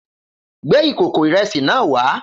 Gbé ìkòkò ìre̩sì náà wá!